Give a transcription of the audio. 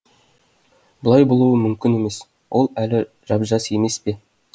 бұлай болуы мүмкін емес ол әлі жап жас емес пе